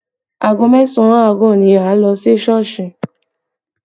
Aago mẹ́sàn àárọ̀ ni a lọ sí Sọ́ọ̀sì